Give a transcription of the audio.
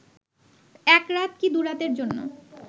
এক রাত কি দুরাতের জন্য